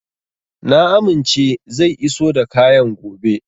Na amince zai iso da kayan gobe.